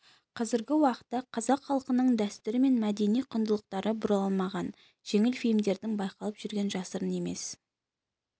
қазіргі уақытта қазақ халқының дәстүрі мен мәдени құндылықтары бұрмаланған жеңіл фильмдердің байқалып жүргені жасырын емес